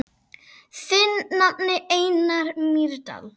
Þinn nafni, Einar Mýrdal.